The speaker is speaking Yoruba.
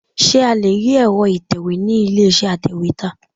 Ṣé a lé rí èro ìtẹ̀wẹ́ ni ilé iṣẹ́ atèwétà?